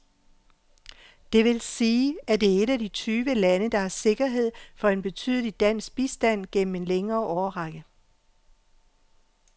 Det vil sige, at det er et af de tyve lande, der har sikkerhed for en betydelig dansk bistand gennem en længere årrække.